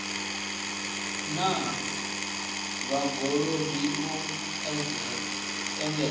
na vhad ologi u engedzea